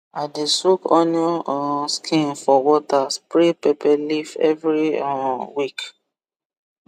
i dey soak onion um skin for water spray pepper leaf every um week